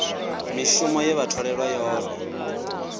mishumo ye vha tholelwa yone